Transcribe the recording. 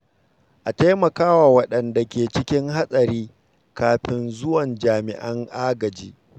A taimaka wa waɗanda ke cikin hatsari kafin zuwan jami’an agaji.